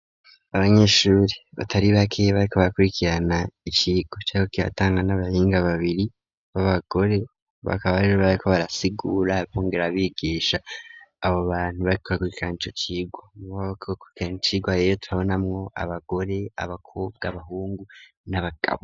Abanyeshuri batari bake bariko bakurikirana icirwa cari kiriko kiratangwa n'abahinga babiri baba gore bakaba bariko barasigura bongera bigisha abo bantu bariko bakurikirana ico cirwa harimwo abagore abakobwa abahungu n'abagabo.